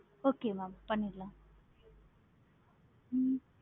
okay mam பண்ணிரலாம். ஹம்